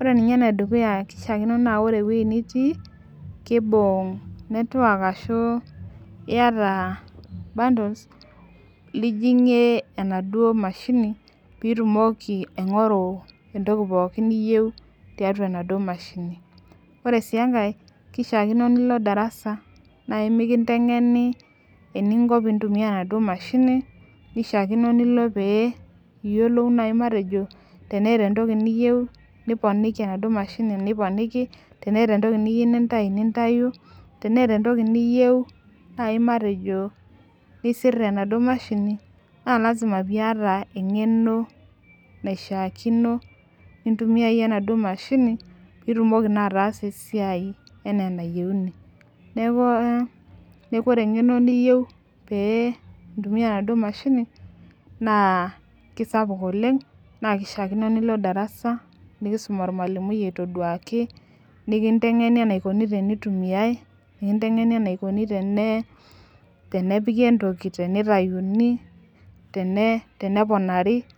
ore ninye ene dukuya kishaakino naa ore ewuji nitii kibung network ashu iyata bundles lijing'ie enaduo mashinj piitumoki aing'oru entoki pookin niyeu tiatua enaduo mashini. Ore sii enkae kishaakino nilo darasa nai mekintenkeni eninko piintumia enaduo mashini, kishaakino nilo nai pee iyiolou matejo teneeta entoki niyeu niponiki enaduo mashini niponiki, teneeta entoki niyeu nintayu nintayu, teneeta entoki niyeu nai matejo nisir tenaduo mashini, naa lazima piiyata eng'eno naishaakino nintumiayie enaduo mashini piitumoki naa ataasa esiai enaa enayeuni. Neeku neeku ore eng'eno niyeu pee intumia enaduo mashini naa kisapuk oleng' naake ishaakino nilo darasa nekiisum ormalimui aitobiraki, nekinteng'eni enaikoni tenitumiai, nekinteng'eni enaikoni tenepiki entoki, tenitayuni, tene teneponari.